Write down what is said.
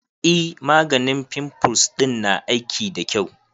E, maganin fimfuls ɗin na aiki da kyau.